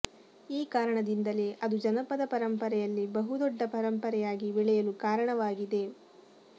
ಈ ಕಾರಣದಿಂದಲೇ ಅದು ಜನಪದ ಪರಂಪರೆಯಲ್ಲಿ ಬಹು ದೊಡ್ಡ ಪರಂಪರೆಯಾಗಿ ಬೆಳೆಯಲು ಕಾರಣವಾಗಿದೆ